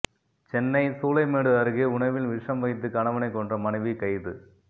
சென்னை சூளைமேடு அருகே உணவில் விஷம் வைத்து கணவனை கொன்ற மனைவி கைது